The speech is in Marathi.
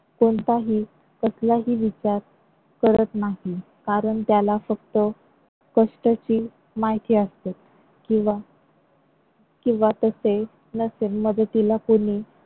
कोणताही कसलाही विचार करत नाही. कारण त्याला फक्त कष्टची माहिती असते किंवा किंवा तसे नसेल मदतीला कोणी